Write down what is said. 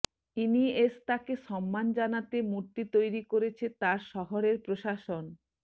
ইনিয়েস্তাকে সম্মান জানাতে মূর্তি তৈরি করেছে তার শহরের প্রশাসন